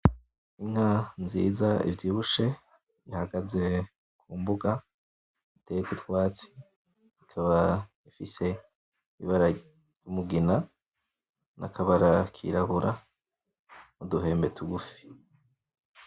Inka nziza ivyibushe ihagaze kumbuga iteyeko utwatsi ikaba ifise ibara ry'umugina n'akabara kirabura n'uduhembe tugufi.